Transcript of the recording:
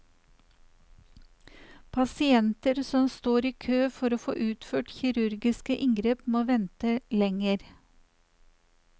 Pasienter som står i kø for å få utført kirurgiske inngrep må vente lenger.